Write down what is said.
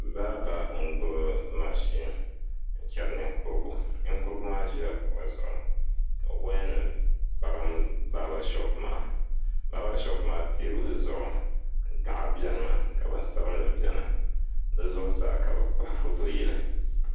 Baaba n gbubi mashin n chɛri ninkurigu ninkurigu maa ʒila kuɣu zuɣu ka woya nim gbarim baaba shoop maa baaba shoop maa teebuli zuɣu gaɣa biɛni mi ka bin sabinli biɛni bi zuɣusaa ka bi kpahi foto yili